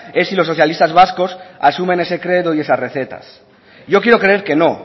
es si los socialistas vascos asumen ese credo y esas recetas yo quiero creer que no